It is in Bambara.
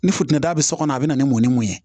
Ni fitini da be so kɔnɔ a be na ni mɔn ni mun ye